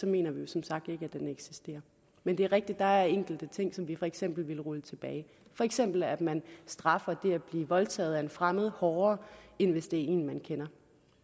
mener vi som sagt ikke at den eksisterer men det er rigtigt der er enkelte ting som vi for eksempel ville rulle tilbage for eksempel at man straffer det at blive voldtaget af en fremmed hårdere end hvis det er af en man kender